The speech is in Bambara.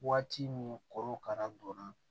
Waati min korokara donna